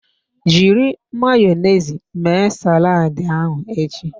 Jiri Mayonezi mee saladi ahụ echi.